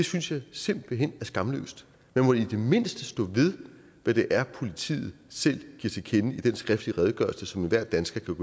synes jeg simpelt hen er skamløst man må i det mindste stå ved hvad det er politiet selv giver til kende i den skriftlige redegørelse som enhver dansker kan